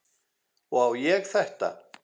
Og á ég þetta?